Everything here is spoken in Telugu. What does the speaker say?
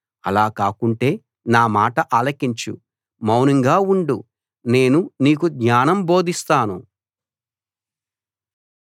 అలా కాకుంటే నా మాట ఆలకించు మౌనంగా ఉండు నేను నీకు జ్ఞానం బోధిస్తాను